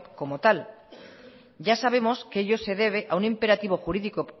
como tal ya sabemos que ello se debe a un imperativo jurídico